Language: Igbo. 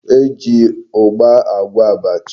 E ji ugba agwo abacha.